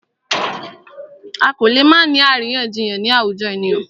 A kò lè má ni àríyànjiyàn ni àwùjọ ènìyàn.